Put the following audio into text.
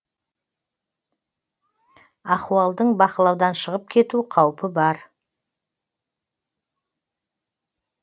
ахуалдың бақылаудан шығып кету қаупі бар